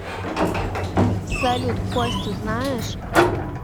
салют костю знаешь